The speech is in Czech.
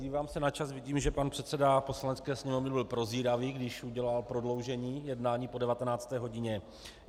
Dívám se na čas, vidím, že pan předseda Poslanecké sněmovny byl prozíravý, když udělal prodloužení jednání po 19. hodině.